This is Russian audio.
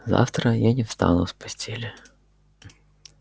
завтра я не встану с постели